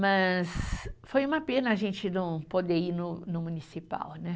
Mas foi uma pena a gente não poder ir no no Municipal, né.